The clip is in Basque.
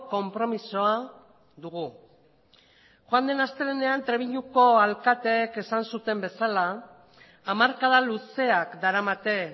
konpromisoa dugu joan den astelehenean trebiñuko alkateek esan zuten bezala hamarkada luzeak daramate